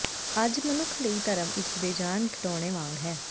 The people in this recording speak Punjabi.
ਅੱਜ ਮਨੁੱਖ ਲਈ ਧਰਮ ਇੱਕ ਬੇਜਾਨ ਖਿਡੌਣੇ ਵਾਂਗ ਹੈ